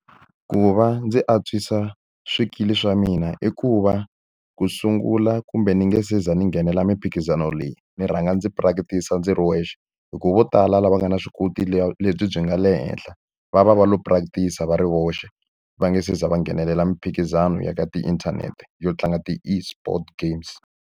Ku va ndzi antswisa swikili swa mina i ku va ku sungula kumbe ni nge se za ni nghenela mphikizano leyi, ndzi rhanga ndzi practice-a ndzi ri wexe. Hi ku vo tala lava nga na vuswikoti lebyi byi nga le henhla, va va va lo practice-a va ri voxe va nga se za va nghenelela miphikizano ya ka tiinthanete yo tlanga ti-Esport games.